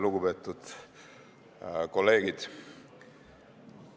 Lugupeetud kolleegid!